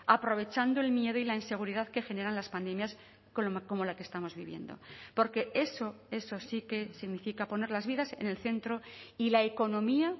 aprovechando el miedo y la inseguridad que generan las pandemias como la que estamos viviendo porque eso eso sí que significa poner las vidas en el centro y la economía